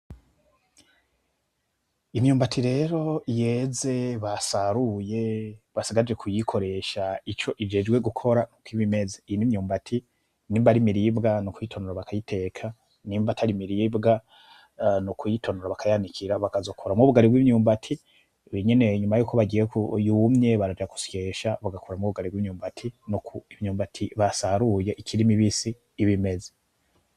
Imyumbati rero yeze basaruye, basigaje kuyikoresha ico ijejwe gukora nuku ibimenze. Iyi nimyumbati nimba ari imiribwa nukuyitonora bakayiteka. Nimba atari imiribwa, nukuyitonora bakayanika, bakazakoramwo ubugari bw’imyumbati. Ibi nyene nyuma yuko bagiye yumye baraja gusyesha bagakoramwo ubugari bw’imyumbati, nuko imyumbati basaruye ikiri mibisi ibimenze.